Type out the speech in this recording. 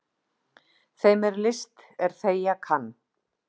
Þeim er list er þegja kann.